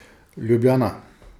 Ljubljana.